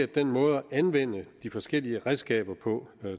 den måde at anvende de forskellige redskaber på